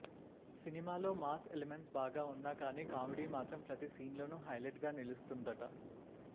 సినిమాలో mass elements బాగా ఉన్నా కానీ కామెడీ మాత్రం ప్రతి సీన్లోను హైలైట్గా నిలుస్తుందట